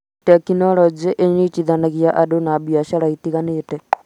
tekinolojĩ ĩnyitithanagia andũ na biacara itiganĩte